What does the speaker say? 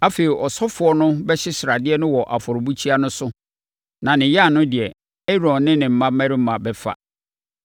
Afei, ɔsɔfoɔ no bɛhye sradeɛ no wɔ afɔrebukyia no so na ne yan no deɛ, Aaron ne ne mmammarima bɛfa,